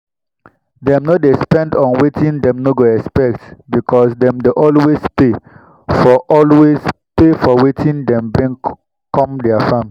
dem no dey spend on wetin dem no expect because dem dey always pay for always pay for wetin dem bring com their farm.